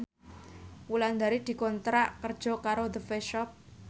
Wulandari dikontrak kerja karo The Face Shop